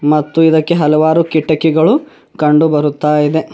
ಮತ್ತು ಇದಕ್ಕೆ ಹಲವಾರು ಕಿಟಕಿಗಳು ಕಂಡು ಬರುತ್ತಾ ಇದೆ.